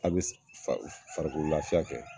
A bɛ farikolo lafiya kɛ